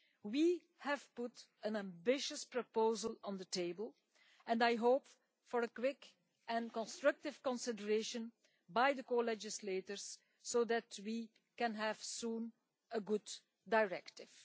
We have put an ambitious proposal on the table, and I hope for quick and constructive consideration by the co-legislators so that we can soon have a good directive.